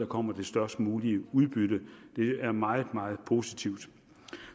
kommer det størst mulige udbytte det er meget meget positivt